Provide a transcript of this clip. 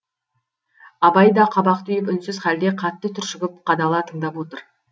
абай да қабақ түйіп үнсіз халде қатты түршігіп қадала тыңдап отыр